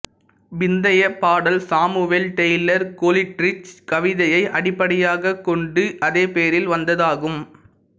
பிந்தைய பாடல் Samuel Taylor Coleridge கவிதையை அடிப்படையாகக் கொண்டு அதே பெயரில் வந்ததாகும்